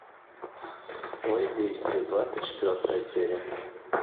воздействие двадцать четвертая серия